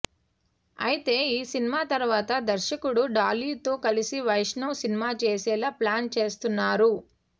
అయితే ఈ సినిమా తరువాత దర్శకుడు డాలీతో కలిసి వైష్ణవ్ సినిమా చేసేలా ప్లాన్ చేస్తున్నారు